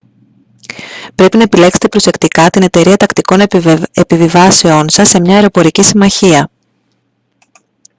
πρέπει να επιλέξετε προσεκτικά την εταιρεία τακτικών επιβιβάσεων σας σε μια αεροπορική συμμαχία